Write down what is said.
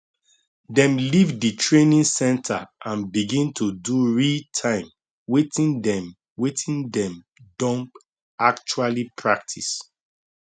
dem leave di training centre and begin to do realtime wetin dem wetin dem don actually practise